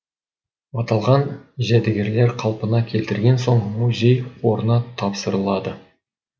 аталған жәдігерлер қалпына келтірілген соң музей қорына тапсырылады